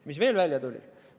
Ja mis veel välja tuli?